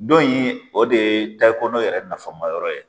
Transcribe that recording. Dɔ in o de ye Tayikɔnɔ yɛrɛ nafama yɔrɔ ye.